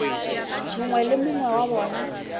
mongwe le mongwe wa bona